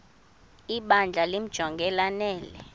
ibandla limjonge lanele